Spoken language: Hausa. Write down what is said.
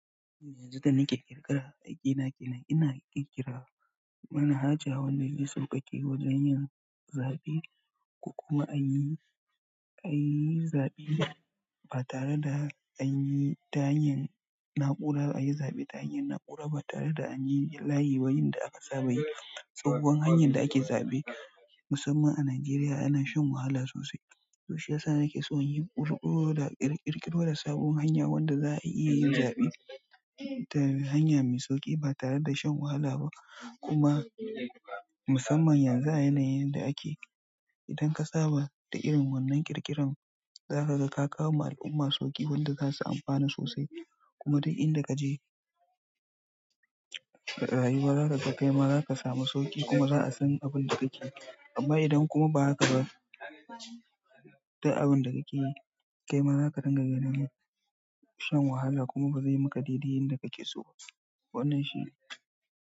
Yanzu da nake ƙirƙira, aikin na kenan, ina ƙirƙira manhaja wanda zai sauƙaƙe wajen yin zaɓe. Kuma an yi, an yi zaɓe ba tare da an yi ta hanyar na'ura, an yi zaɓe ta hanyar na'ura ba tare da an yi layi ba, yanda aka saba yi. Sabo hanyar da ake zaɓe musamman a Najeriya ana shan wahala sosai. To shiyasa nake so in yi ƙuruƙo da ƙirƙiro da sabon hanya wanda za a iya yin zaɓe ta hanya mai sauƙi ba tare da shan wahala ba. Kuma musamman yanzu a yanayin da ake, idan ka saba da irin wannan ƙirƙiran, za ka ga ka kawo ma al'umma sauƙi wanda za su amfana sosai. Kuma duk inda ka je, rayuwa zakaga kai ma, za ka samu sauƙi kuma za a san abin da kake yi. Amma idan kuma ba haka ba, duk abin da kake yi, kai ma za ka ringa ganin shan wahala kuma ba zai yi maka daidai yanda kake so ba. Wannan shi ne.